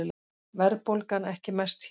Verðbólgan ekki mest hér